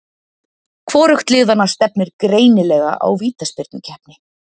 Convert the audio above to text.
Hvorugt liðanna stefnir greinilega á vítaspyrnukeppni.